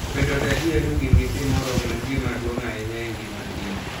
Bedo gadier ni gin gi pi moromo en gima duong' ahinya e ngima kich